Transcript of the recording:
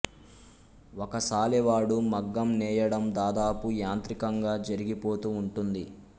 ఒక సాలెవాడు మగ్గం నేయడం దాదాపు యాంత్రికంగా జరిగిపోతూ ఉంటుంది